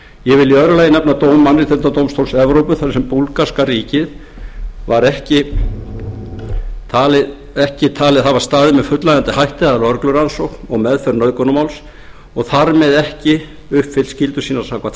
ég vil í öðru lagi má nefna dóm mannréttindadómstóls evrópu þar sem búlgarska ríkið var ekki talið hafa staðið með fullnægjandi hætti að lögreglurannsókn og meðferð nauðgunarmáls og þar með ekki uppfyllt skyldur sínar samkvæmt